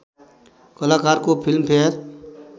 कलाकारको फिल्मफेयर